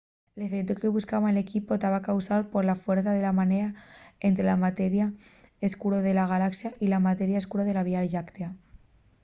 l'efeutu que buscaba l'equipu taba causáu pola fuercia de marea ente la materia escuro de la galaxa y la materia escuro de la vía lláctea